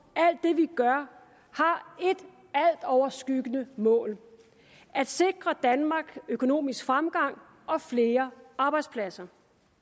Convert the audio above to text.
alt det vi gør har et altoverskyggende mål at sikre danmark økonomisk fremgang og flere arbejdspladser